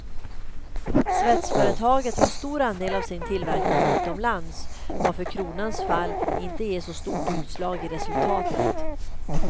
Svetsföretaget har stor andel av sin tillverkning utomlands, varför kronans fall inte ger så stort utslag i resultatet.